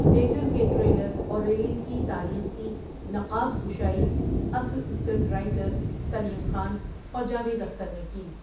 Theatre کے trailer اور release کی تاریخ کی نقاب کشائی اصل اسکرپٹ رائٹر سلیم خان اور جاوید اختر نے کی۔